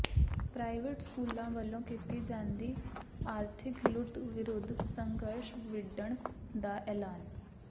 private ਸਕੂਲਾਂ ਵੱਲੋਂ ਕੀਤੀ ਜਾਂਦੀ ਆਰਥਿਕ ਲੁੱਟ ਵਿਰੁੱਧ ਸੰਘਰਸ਼ ਵਿੱਢਣ ਦਾ ਐਲਾਨ